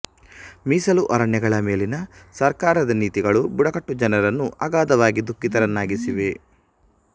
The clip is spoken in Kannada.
ಮೀಸಲು ಅರಣ್ಯಗಳ ಮೇಲಿನ ಸರ್ಕಾರದ ನೀತಿಗಳು ಬುಡಕಟ್ಟು ಜನರನ್ನು ಅಗಾಧವಾಗಿ ದುಖಿಃತರನ್ನಾಗಿಸಿವೆ